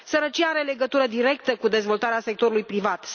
Sărăcia are legătură directă cu dezvoltarea sectorului privat.